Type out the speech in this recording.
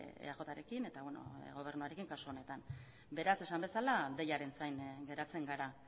eajrekin eta gobernuarekin kasu honetan beraz esan bezala deiaren zain geratzen gara